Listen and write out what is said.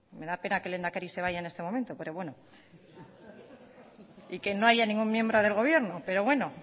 me da pena que el lehendakari se vaya en este momento pero bueno y que no haya ningún miembro del gobierno pero bueno